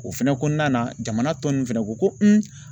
O fɛnɛ kɔnɔna na jamana tɔ nunnu fɛnɛ ko ko